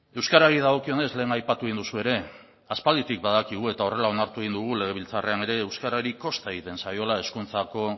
euskarari dagokionez lehen aipatu egin duzu ere aspalditik badakigu eta horrela onartu egin dugu legebiltzarrean ere euskarari kosta egiten zaiola hezkuntzako